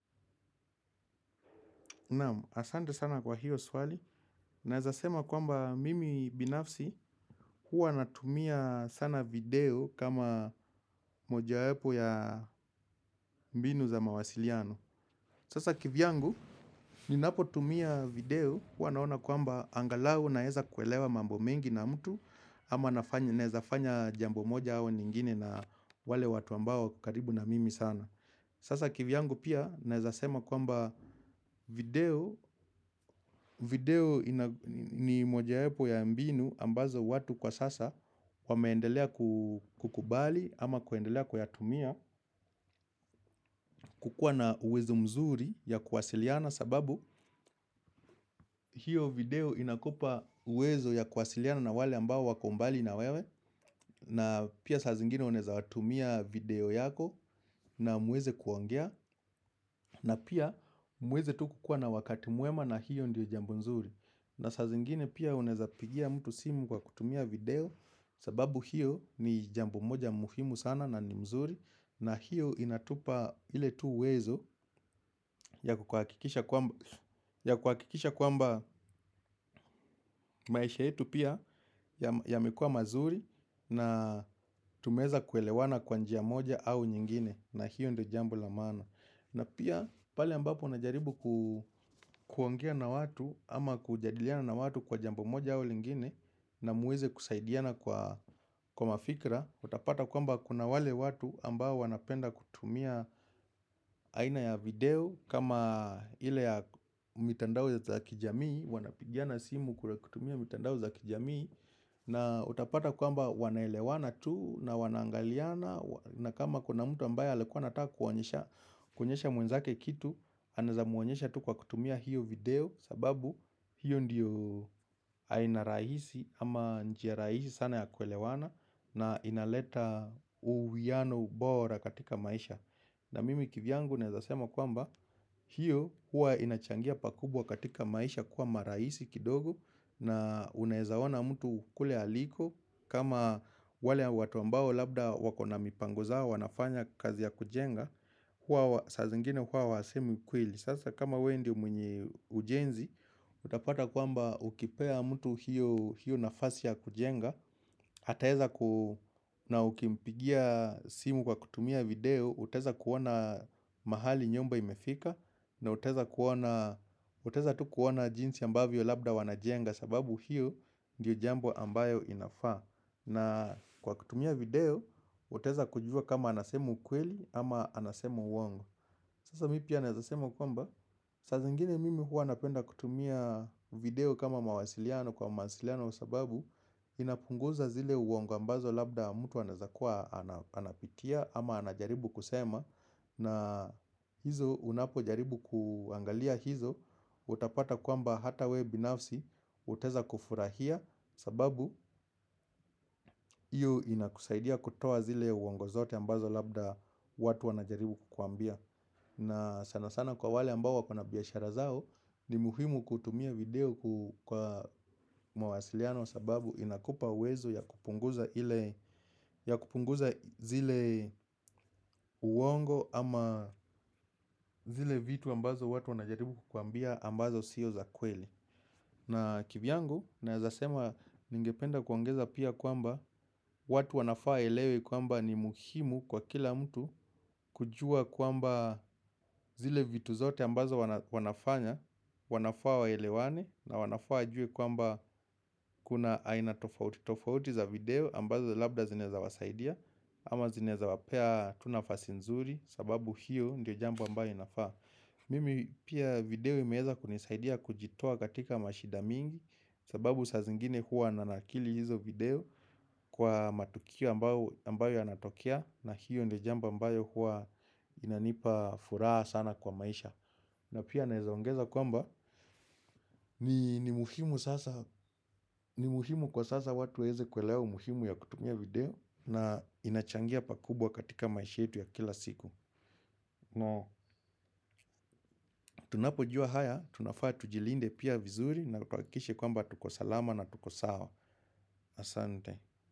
Naamu, asante sana kwa hiyo swali. Naezasema kwamba mimi binafsi huwa natumia sana video kama mojawepo ya mbinu za mawasiliano. Sasa kivyangu, ninapo tumia video huwa naona kwamba angalau naeza kuelewa mambo mengi na mtu ama naezafanya jambo moja au nyingine na wale watu ambao karibu na mimi sana. Sasa kivyangu pia naezasema kwamba video ni mojawepo ya mbinu ambazo watu kwa sasa wameendelea kukubali ama kuendelea kuyatumia kukua na uwezo mzuri ya kuwasiliana sababu hiyo video inakupa uwezo ya kuwasiliana na wale ambao wako mbali na wewe. Na pia sa zingine unaeza watumia video yako na muweze kuongea. Na pia muweze tuku kuwa na wakati mwema na hiyo ndio jambo mzuri. Na saa zingine pia unaeza pigia mtu simu kwa kutumia video. Sababu hiyo ni jambo moja muhimu sana na ni mzuri. Na hiyo inatupa ile tu uwezo ya kuwakikisha kwamba maisha yetu pia yamekua mazuri. Na tumeeza kuelewana kwa njia moja au nyingine. Na hiyo ndo jambo la maana. Na pia pale ambapo unajaribu kuongea na watu ama kujadiliana na watu kwa jamboi moja au lingine. Na muweze kusaidiana kwa mafikra. Utapata kwamba kuna wale watu ambao wanapenda kutumia aina ya video kama ile ya mitandao za kijamii. Wanapigiana simu kutumia mitandao za kijamii. Na utapata kwamba wanaelewana tu na wanangaliana. Na kama kuna mtu ambaye alikuwa nata kuonyesha mwenzake kitu. Anaeza muonyesha tu kwa kutumia hiyo video. Sababu hiyo ndiyo aina raisi ama njia raisi sana ya kuelewana. Na inaleta uwiano ubora katika maisha. Na mimi kivyangu naezasema kwamba hiyo hua inachangia pakubwa katika maisha kuwa maraisi kidogo. Na unaeza wana mtu kule aliko. Kama wale watu ambao labda wako na mipango zao wanafanya kazi ya kujenga. Saa zingine huwa wasemi ukweli. Sasa kama we ndio mwenye ujenzi. Utapata kwamba ukipea mtu hiyo nafasi ya kujenga. Hataeza na ukimpigia simu kwa kutumia video. Utaeza kuona mahali nyumba imefika. Na utaeza tu kuona jinsi ambavyo labda wanajenga sababu hiyo ndiyo jambo ambayo inafa. Na kwa kutumia video, utaeza kujua kama anasema ukweli ama anasema uwongo. Sasa mi pia naeza sema kwamba, sasa ingine mimi huwa napenda kutumia video kama mawasiliano kwa mawasiliano sababu inapunguza zile uongo ambazo labda mtu anaaezakua anapitia ama anajaribu kusema. Na hizo unapo jaribu kuangalia hizo. Utapata kwamba hata we binafsi. Utaeza kufurahia. Sababu iyo inakusaidia kutoa zile uongo zote ambazo labda watu wana jaribu kukwambia. Na sana sana kwa wale ambao wako na biashara zao. Ni muhimu kutumia video kwa mawasiliano. Sababu inakupa uwezo ya kupunguza zile uongo. Ama zile vitu ambazo watu wanajaribu kukwambia ambazo siyo za kweli. Na kivyangu na naezasema ningependa kuongeza pia kwamba watu wanafaa waelewe kwamba ni muhimu kwa kila mtu kujua kwamba zile vitu zote ambazo wanafanya. Wanafaa waelewane na wanafaa wajue kwamba kuna aina tofauti. Tofauti za video ambazo labda zinaeza wasaidia. Ama zineza wapea tu nafasi nzuri sababu hiyo ndio jambo ambayo inafaa. Mimi pia video imeeza kunisaidia kujitoa katika mashida mingi. Sababu sazingine hua nanakili hizo video kwa matukio ambayo yanatokea. Na hiyo ndio jambo ambayo huwa inanipa furaha sana kwa maisha. Na pia naeza ongeza kwamba ni muhimu kwa sasa watu weweze kuelewa umuhimu ya kutumia video. Na inachangia pakubwa katika maisha yetu ya kila siku. Tunapojua haya, tunafaa tujilinde pia vizuri. Na tuakikishe kwamba tukosalama na tukosawa. Asante.